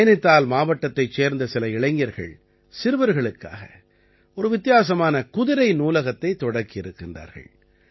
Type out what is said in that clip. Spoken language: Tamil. நைநிதால் மாவட்டத்தைச் சேர்ந்த சில இளைஞர்கள் சிறுவர்களுக்காக ஒரு வித்தியாசமான குதிரை நூலகத்தைத் தொடக்கியிருக்கின்றார்கள்